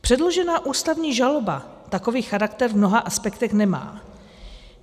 Předložená ústavní žaloba takový charakter v mnoha aspektech nemá.